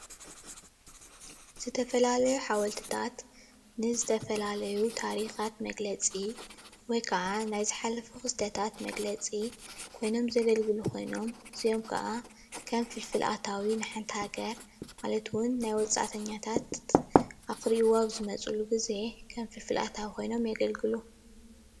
እዚ ምስሊ ውፂኢት ኢደ ጥበብ ኮይኑ ካብ እምኒ ተወቂሩ ዝተሰረሐ ሓወልቲ እንትኸውን ካብ ሃወፅቲ ኣታዊ ይርከቦ።